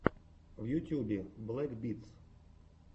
в ютьюбе блэк битс